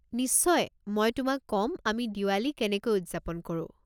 নিশ্চয়, মই তোমাক ক'ম আমি দিৱালী কেনেকৈ উদযাপন কৰো।